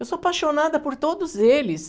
Eu sou apaixonada por todos eles.